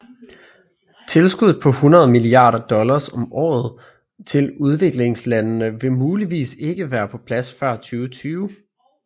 Tilskuddet på 100 milliarder dollars om året til udviklingslandende vil muligvis ikke være på plads før 2020